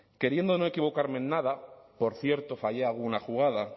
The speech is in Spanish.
queriendo no equivocarme en nada por cierto fallé alguna jugada